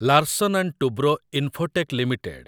Larsen and Toubro Infotech limited